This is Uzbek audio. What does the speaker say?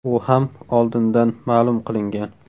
U ham oldindan ma’lum qilingan.